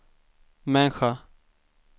människa